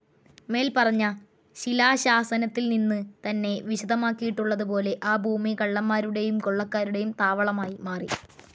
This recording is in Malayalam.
മേൽപ്പറഞ്ഞ ശിലാശാസനത്തിൽ നിന്നു തന്നെ വിശദമാക്കിയിട്ടുള്ളത് പോലെ ആ ഭൂമി കള്ളന്മാരുടെയും കൊള്ളക്കാരുടെയും താവളമായി മാറി.